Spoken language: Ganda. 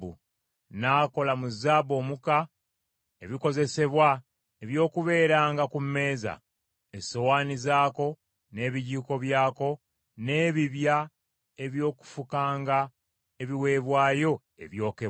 N’akola mu zaabu omuka, ebikozesebwa eby’okubeeranga ku mmeeza: essowaani zaako, n’ebijiiko byako, n’ebibya eby’okufukanga ebiweebwayo eby’okunywa.